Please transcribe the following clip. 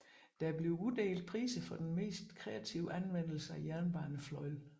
Der bliver uddelt priser for den mest kreative anvendelse af jernbanefløjl